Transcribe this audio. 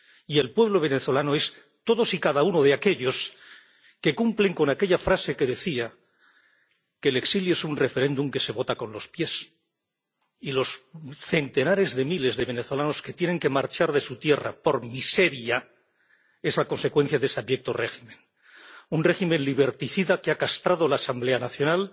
Y el pueblo venezolano son todos y cada uno de aquellos que cumplen con aquella frase que decía que el exilio es un referéndum que se vota con los pies. Y los centenares de miles de venezolanos que tienen que marchar de su tierra por miseria son la consecuencia de ese abyecto régimen un régimen liberticida que ha castrado la Asamblea Nacional